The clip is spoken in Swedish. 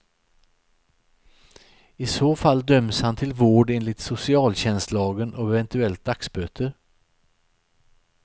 I så fall döms han till vård enligt socialtjänstlagen och eventuellt dagsböter.